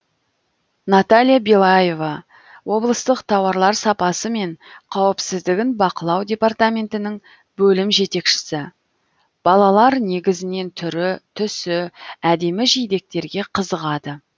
наталья белаева облыстық тауарлар сапасы мен қауіпсіздігін бақылау департаментінің бөлім жетекшісі балалар негізінен түрі түсі әдемі жидектерге қызығады